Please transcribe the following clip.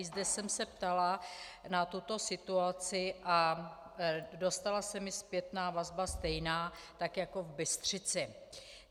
I zde jsem se ptala na tuto situaci a dostala se mi zpětná vazba stejná, tak jako v Bystřici.